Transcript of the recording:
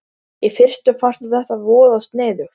Í fyrstu fannst þeim þetta voða sniðugt.